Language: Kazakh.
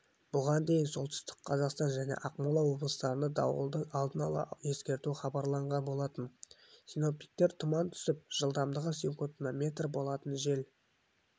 бұған дейін солтүстік қазақстан және ақмола облыстарына дауылды алдын ала ескерту хабарланған болатын синоптиктер тұман түсіп жылдамдығы секундына метр болатын жел